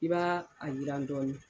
I b'a a yiran dɔɔni.